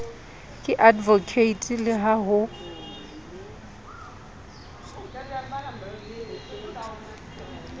ke advocate le ha ho